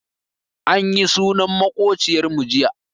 Anyi sunan maƙociyar mu jiya.